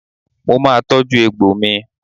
Mo máa tọ́jú egbò mi.